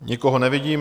Nikoho nevidím.